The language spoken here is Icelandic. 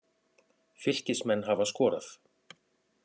Fylkismenn hafa skorað.